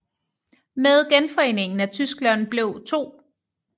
Med genforeningen af Tyskland blev 2